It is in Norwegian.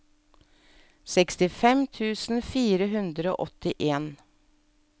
sekstifem tusen fire hundre og åttien